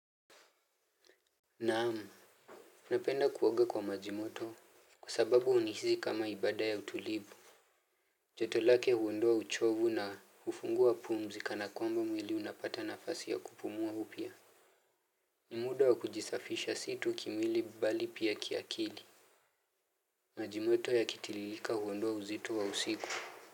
Naam, napenda kuoga kwa maji moto kwa sababu hunisihi kama ibada ya utulivu. Joto lake huondoa uchovu na hufungua pumzi kana kwamba mwili unapata nafasi ya kupumua upya. Ni muda wa kujisafisha si tu kimwili bali pia kiakili. Maji moto yakitiririka huondoa uzito wa usiku.